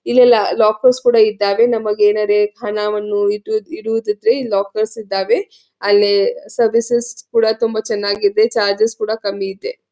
ಇಲ್ಲಿ ಲೋಕೆರ್ಸ್ ಕೂಡ ಇದ್ದವೆ. ನಮಗೆ ಏನಾರ್ ಹಣವನ್ನು ಇಡುದ್ರಿದ್ರೆ ಈ ಲೋಕರ್ಸ್ ಇದ್ದಾವೆ. ಅಲ್ಲಿ ಸರ್ವಿಸಸ್ ಕೂಡ ತುಂಬಾ ಚನ್ನಾಗಿದೆ ಚಾರ್ಜಸ್ ಕೂಡ ಕಮ್ಮಿ ಇದೆ.